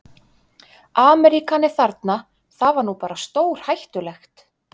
Ameríkani þarna, það var nú bara stórhættulegt.